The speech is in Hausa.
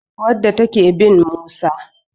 wadda take bin Musa